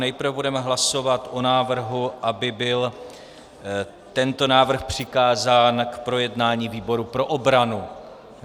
Nejprve budeme hlasovat o návrhu, aby byl tento návrh přikázán k projednání výboru pro obranu.